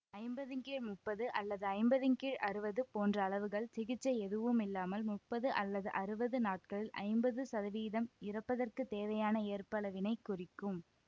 ஐம்பதின் கீழ் முப்பது அல்லது ஐம்பதின் கீழ் அறுவது போன்ற அளவுகள் சிகிச்சை எதுவுமில்லாமல் முப்பது அல்லது அறுவது நாட்களில் ஐம்பது சதவீதம் இறப்பதற்குத் தேவையான ஏற்பளவினை குறிக்கும்